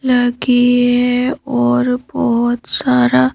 लगी है और बहुत सारा--